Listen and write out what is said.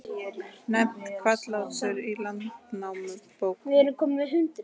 Nefnt Hvallátur í Landnámabók.